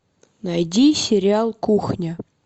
найди сериал кухня